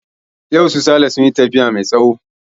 Yau su sale sun yi tafiya mai tsawo